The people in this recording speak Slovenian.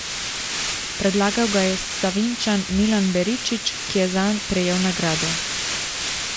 Predlagal ga je Sevničan Milan Beričič, ki je zanj prejel nagrado.